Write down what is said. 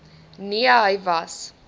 nee hy was